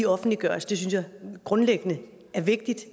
offentliggøres det synes jeg grundlæggende er vigtigt